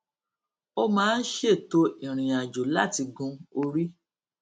ó máa ń ṣètò ìrìnàjò láti gun orí